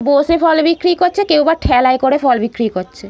বসে ফল বিক্রি করছে কেউ বা ঠেলায় করে ফল বিক্রি করছে।